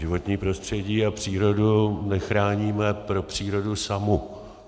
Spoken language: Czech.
Životní prostředí a přírodu nechráníme pro přírodu samu.